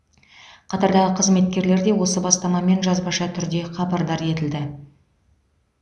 қатардағы қызметкерлер де осы бастамамен жазбаша түрде хабардар етілді